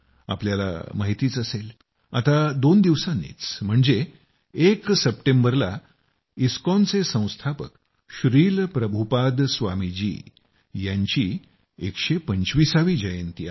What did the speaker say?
तुम्हाला माहितीच असेल आता दोन दिवसांनीच म्हणजे एक सप्टेंबरला इस्कॉनचे संस्थापक श्रील प्रभुपाद स्वामी जी यांची 125 वी जयंती आहे